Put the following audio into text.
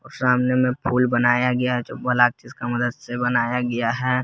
सामने में फूल बनाया है जो का मदद से बनाया गया है।